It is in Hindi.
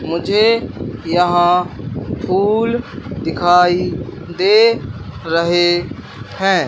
मुझे यहां फूल दिखाई दे रहे हैं।